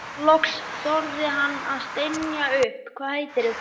Loks þorði hann að stynja upp: Hvað heitirðu?